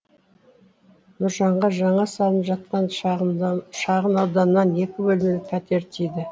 нұржанға жаңа салынып жатқан шағын ауданнан екі бөлмелі пәтер тиді